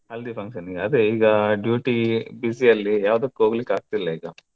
हल्दी function ಗೆ ಅದೇ ಈಗ duty busy ಅಲ್ಲಿ ಯಾವ್ದಕ್ಕು ಹೋಗ್ಲಿಕ್ಕಾಗ್ತಿಲ್ಲ ಈಗ.